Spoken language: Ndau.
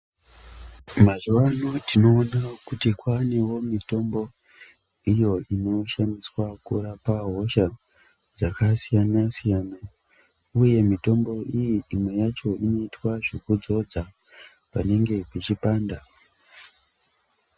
Mazuva ano tinoona kuti kwanewo mitombo iyo ino shandiswa kurapa hosha dzaka siyana siyana uye mitombo iyi imwe yacho inoitwa zveku dzodza panenge pechi panda.